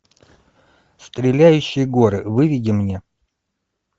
стреляющие горы выведи мне